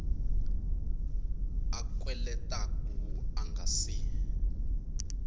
a kweletaku a nga si